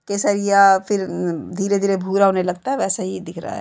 केसरिया फिर धीरे धीरे भूरा होने लगता है वैसा ही दिख रहा है।